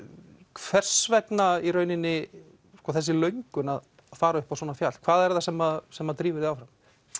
hvers vegna þessi löngun að fara upp á svona fjall hvað er það sem sem drífur þig áfram